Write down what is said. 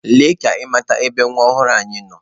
Lee ka ị mata ebe nwa ọhụrụ anyị nọ!.